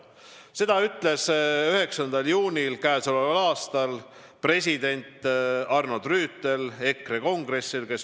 " Seda ütles 9. juunil k.a president Arnold Rüütel EKRE kongressil.